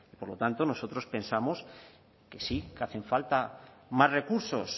por lo tanto nosotros pensamos que sí que hacen falta más recursos